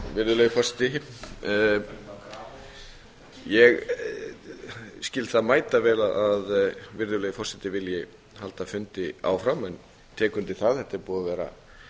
virðulegi forseti ég skil það mætavel að virðulegi forseti vilji halda fundi áfram en tek undir að þetta er búið að vera